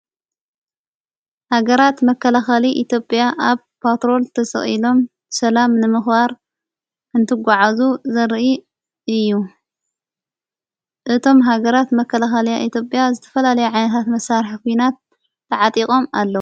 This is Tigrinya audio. ሃገራት መከለኸሊ ኢትጵያ ኣብ ትሮልፓ ተሠኢሎም ሰላም ነምኽዋር እንትጐዓእዙ ዘርኢ እዩ እቶም ሃገራት መከለኸልያ ኢትጵያ ዝተፈላለይ ዓይኔታት መሣርሕ ኹናት ተዓጢቖም ኣሎ።